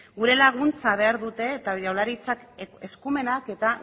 gure laguntza behar dute eta jaurlaritzan eskumenak eta